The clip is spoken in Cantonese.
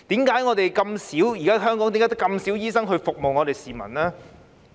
為何香港現時只有這麼少醫生服務市民呢？